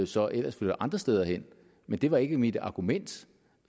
så ellers flytter andre steder hen men det var ikke mit argument